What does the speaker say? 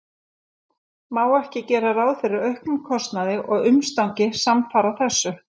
Má ekki gera ráð fyrir auknum kostnaði og umstangi samfara þessu?